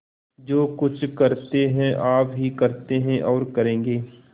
जो कुछ करते हैं आप ही करते हैं और करेंगे